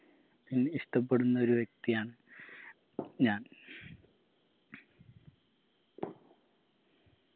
any ഇഷ്ട്ടപ്പെടുന്നൊരു വ്യക്തിയാണ് ഞാൻ